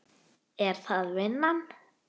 Er það vinnan?